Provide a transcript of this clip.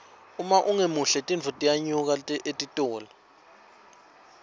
uma ungemuhle tintfo tiyanyuka etitolo